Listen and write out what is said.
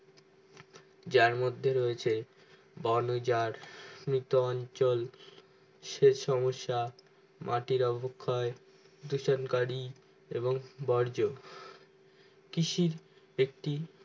যার মধ্যে রয়েছে বোনজার নুতঞ্চল সে সমস্যা মাটির অভখাই ধুসন করি এবং বর্জ কৃষির একটি